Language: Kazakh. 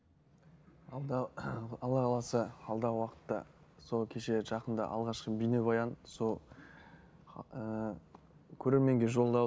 алда алла қаласа алдағы уақытта сол кеше жақында алғашқы бейнебаян сол ііі көрерменге жолдау